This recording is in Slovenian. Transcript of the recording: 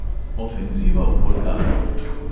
Ofenziva v bolgariji.